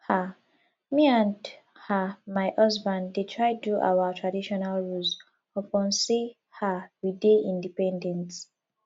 um me and um my husband dey try do our traditional roles upon sey um we dey independent